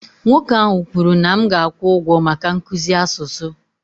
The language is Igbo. Nwoke ahụ kwuru na m ga-akwụ ụgwọ maka nkuzi asụsụ